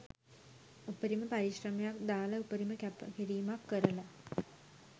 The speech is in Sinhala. උපරිම පරිශ්‍රමයක් දාලා උපරිම කැප කිරීමක් කරලා